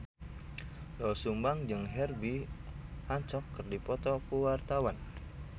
Doel Sumbang jeung Herbie Hancock keur dipoto ku wartawan